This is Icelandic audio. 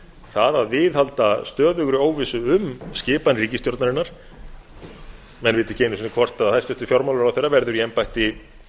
það að viðhalda stöðugri óvissu um skipan ríkisstjórnarinnar menn vita ekki einu sinn hvort hæstvirtur fjármálaráðherra verður í embætti